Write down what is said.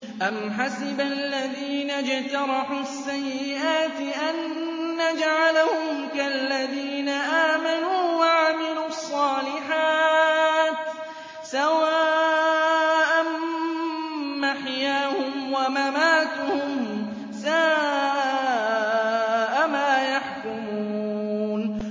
أَمْ حَسِبَ الَّذِينَ اجْتَرَحُوا السَّيِّئَاتِ أَن نَّجْعَلَهُمْ كَالَّذِينَ آمَنُوا وَعَمِلُوا الصَّالِحَاتِ سَوَاءً مَّحْيَاهُمْ وَمَمَاتُهُمْ ۚ سَاءَ مَا يَحْكُمُونَ